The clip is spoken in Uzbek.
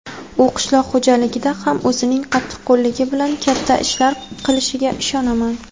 U qishloq xo‘jaligida ham o‘zining qattiqqo‘lligi bilan katta ishlar qilishiga ishonaman.